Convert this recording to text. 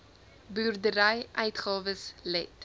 boerdery uitgawes let